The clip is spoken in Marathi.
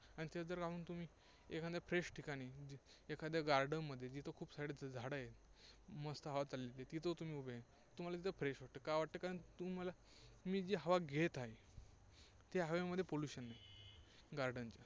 आणि तेच जर तुम्ही एखाद्या fresh ठिकाणी, एखाद्या garden मध्ये, जिथे खूप सारी झाडं आहेत, मस्त हवा चालली आहे, तिथे तुम्ही उभे आहे, तुम्हाला एकदम fresh वाटतं. का वाटतं? कारण तुम्ही जी हवा घेत आहे, त्या हवे मध्ये pollution नाही, garden च्या.